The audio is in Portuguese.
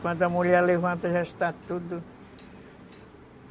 Quando a mulher levanta, já está tudo...